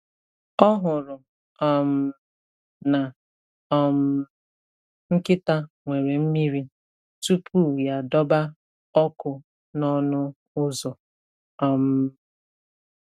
Ọ hụrụ um na um nkịta nwere mmiri tupu ya adọba ọkụ n’ọnụ ụzọ. um